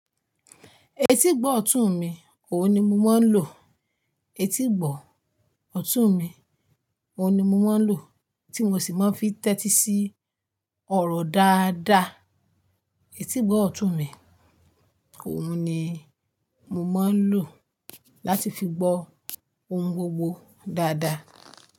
Etí gbọ̀ọ̀tù mi, òhun ni mo máa ń lò. Etí gbọ̀ ọ̀tù mi òun ni mo máa ń lò, tí mo sì máa ń fi tẹ́tí sí ọ̀rọ̀ dáadáa. Etí gbọ̀ ọ̀tù mi òun ni mo máa ń lò láti fi gbọ́ ohun gbogbo dáadáa.